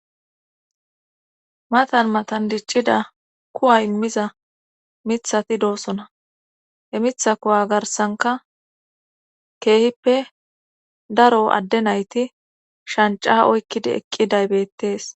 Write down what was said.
Matan matan diccida kuwa immiza mithati doosona he mitha kowa garsanka keehippe daro adde nayti shanca oykkidi eqqiday beettees.